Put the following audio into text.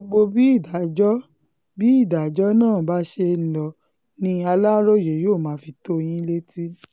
gbogbo bí ìdájọ́ bí ìdájọ́ náà bá ṣe lọ ni aláròye yóò máa fi tó yín létí